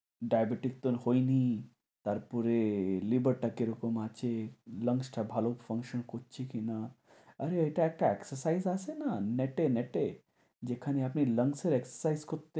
diabatic তো আর হয়নি, তারপরে liver টা কিরকম আছে, lungs টা ভালো function করছে কি না, আরে এটার একটা exercise আছে না net এ net এ যেখানে আপনি এর করতে,